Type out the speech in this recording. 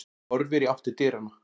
Horfir í átt til dyranna.